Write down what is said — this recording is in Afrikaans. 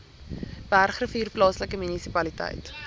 bergrivier plaaslike munisipaliteit